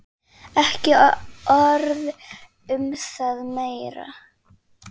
Ekki orð um það meir.